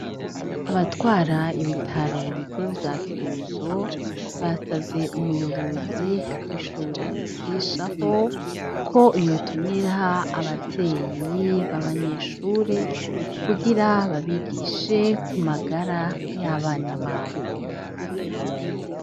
Abatwara ibitaro b'ikuru vya Kirundo basavye umuyobozi w'ishure nigishaho ko yotumira abavyeyi b'abanyeshuri kugira babigishe ku magara y'abana babo.